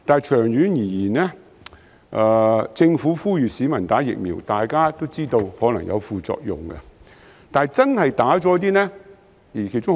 長遠而言，政府呼籲市民接種疫苗，而大家皆知道，接種後可能會出現副作用。